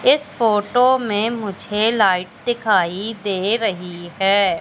इस फोटो में मुझे लाइट दिखाई दे रही है।